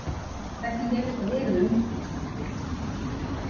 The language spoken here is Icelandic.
Hvernig hefur þetta verið á undirbúningstímabilinu?